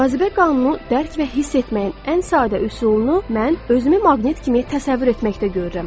Cazibə qanunu dərk və hiss etməyin ən sadə üsulunu mən özümü maqnit kimi təsəvvür etməkdə görürəm.